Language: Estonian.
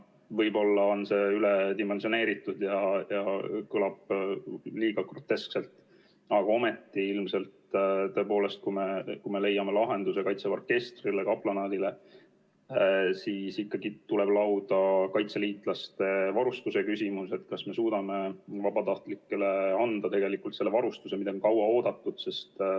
Võib-olla on see üledimensioneeritud ja kõlab liiga groteskselt, aga ometi ilmselt, kui me leiame lahenduse kaitseväe orkestrile ja kaplanaadile, siis ikkagi tuleb lauda kaitseliitlaste varustuse küsimus, see, kas me suudame vabatahtlikele anda tegelikult selle varustuse, mida on kaua oodatud.